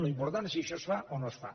l’important és si això es fa o no es fa